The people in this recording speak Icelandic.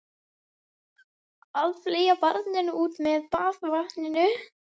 Að fleygja barninu út með baðvatninu